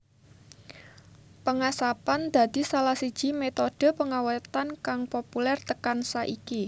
Pengasapan dadi salah siji metode pengawétan kang populer tekan saiki